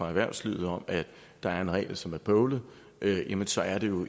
erhvervslivet om at der er en regel som er bøvlet jamen så er det jo